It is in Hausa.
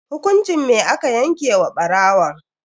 Hukunci me aka yanke wa barawon?